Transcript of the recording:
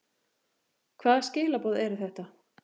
Hvaða skilaboð eru þetta?